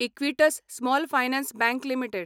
Equitas small finance bank limited